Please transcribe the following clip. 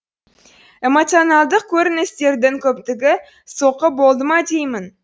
эмоционалдық көріністердің көптігі соққы болды ма деймін